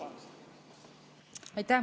Aitäh!